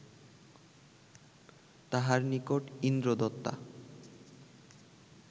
তাঁহার নিকট ইন্দ্রদত্তা